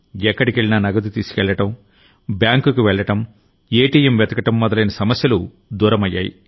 ఎక్కడికెళ్లినా నగదు తీసుకెళ్లడం బ్యాంకుకు వెళ్ళడం ఏటీఎం వెతకడం మొదలైన సమస్యలు దూరమయ్యాయి